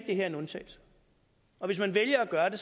det her en undtagelse og hvis man vælger at gøre det